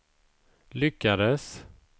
lyckades